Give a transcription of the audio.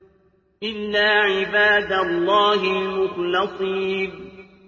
إِلَّا عِبَادَ اللَّهِ الْمُخْلَصِينَ